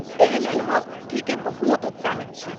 एहि लेल हम ठीके बहुत उत्साहित छी।